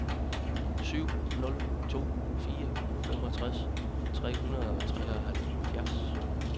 syv nul to fire femogtres tre hundrede og treoghalvfjerds